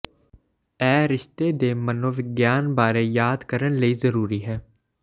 ਇਹ ਰਿਸ਼ਤੇ ਦੇ ਮਨੋਵਿਗਿਆਨ ਬਾਰੇ ਯਾਦ ਕਰਨ ਲਈ ਜ਼ਰੂਰੀ ਹੈ